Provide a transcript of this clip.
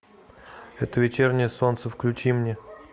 это вечернее солнце включи мне